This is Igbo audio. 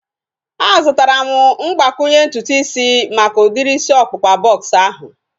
A zụtara m mgbakwunye ntutu isi maka udiri isi ọkpụkpa bọks ahu